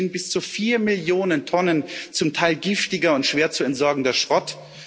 Dabei entstehen bis zu 4 Millionen Tonnen zum Teil giftiger und schwer zu entsorgender Schrott.